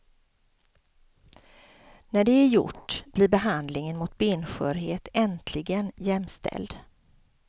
När det är gjort blir behandlingen mot benskörhet äntligen jämställd.